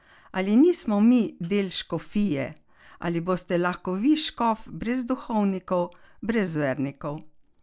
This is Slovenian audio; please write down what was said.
Ali nismo mi del škofije, ali boste lahko vi škof brez duhovnikov, brez vernikov?